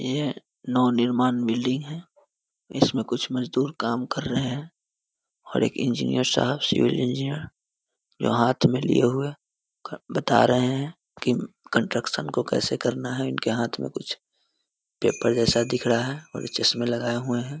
ये नव-निर्माण बिल्डिंग है इसमें कुछ मजदूर काम कर रहे हैं और एक इंजिनियर साहब सिविल इंजिनियर जो हाथ में लिए हुए क बता रहे है कि कंस्ट्रक्शन को कैसे करना है उनके हाथों में कुछ पेपर जैसा दिख रहा है और चश्मे लगाय हुए है |